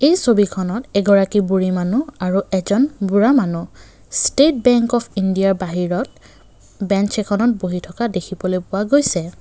এই ছবিখনত এগৰাকী বুঢ়ী মানুহ আৰু এজন বুঢ়া মানুহ ষ্টেট বেঙ্ক অফ ইণ্ডিয়া বাহিৰত ব্ৰেন্স এখনত বহি থকা দেখিবলৈ পোৱা গৈছে।